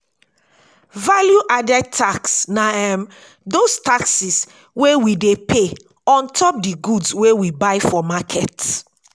value added tax na um those taxes wey we dey pay ontop di goods wey we buy for market ]